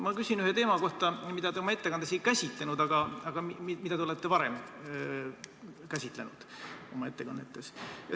Ma küsin ühe teema kohta, mida te oma ettekandes ei käsitlenud, aga mida te olete varem käsitlenud oma ettekannetes.